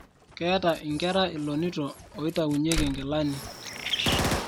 ketaa inkera ilonito oitaunyieki inkelani